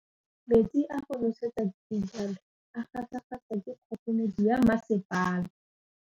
Metsi a go nosetsa dijalo a gasa gasa ke kgogomedi ya masepala.